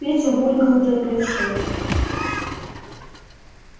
петя булькал дыркой в шее